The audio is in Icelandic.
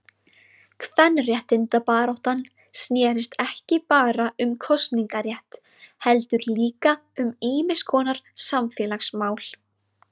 Kvenréttindabaráttan snérist ekki bara um kosningarétt heldur líka um ýmiskonar samfélagsmál.